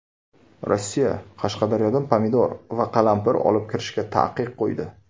Rossiya Qashqadaryodan pomidor va qalampir olib kirishga taqiq qo‘ydi.